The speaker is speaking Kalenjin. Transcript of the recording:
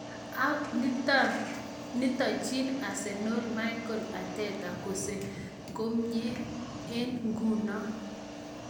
Nitononchin Arsenal Mikel Arteta kokosenkomnye eng nguno.